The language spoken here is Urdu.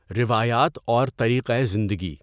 روایات اور طریقۂ زندگی